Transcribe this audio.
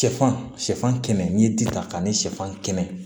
Sɛfan shɛfan kɛmɛ ni ji ta ani suman kɛnɛ